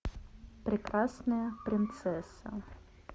прекрасная принцесса